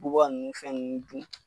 Bubaga nunnu fɛn nunnu dun.